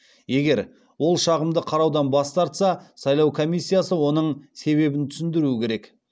егер ол шағымды қараудан бас тартса сайлау комиссиясы оның себебін түсіндіруі керек